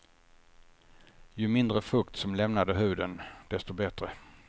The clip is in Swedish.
Ju mindre fukt som lämnade huden, desto bättre.